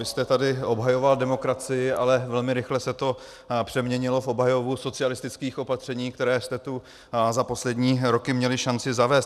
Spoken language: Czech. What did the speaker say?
Vy jste tady obhajoval demokracii, ale velmi rychle se to přeměnilo v obhajobu socialistických opatření, která jste tu za poslední roky měli šanci zavést.